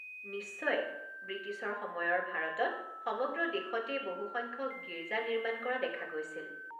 নিশ্চয়। বৃটিছৰ সময়ৰ ভাৰতত সমগ্ৰ দেশতেই বহুসংখ্যক গীৰ্জা নিৰ্মাণ কৰা দেখা গৈছিল।